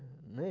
né?